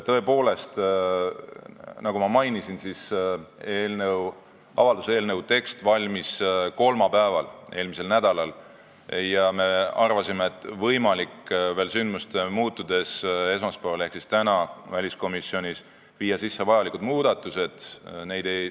Tõepoolest, nagu ma mainisin, avalduse eelnõu tekst valmis eelmise nädala kolmapäeval ja me arvasime, et võimalik on olukorra muutudes esmaspäeval ehk täna viia väliskomisjonis sisse muudatused.